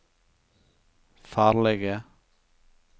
farlige